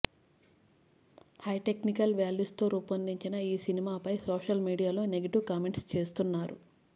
high technical values తో రూపొందిన ఈ సినిమాపై సోషల్ మీడియాలో నెగెటివ్ కామెంట్స్ చేస్తున్నారు